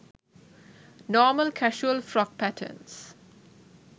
normal casual frock patterns